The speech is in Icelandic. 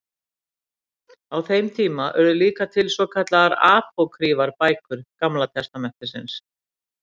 á þeim tíma urðu líka til svo kallaðar apókrýfar bækur gamla testamentisins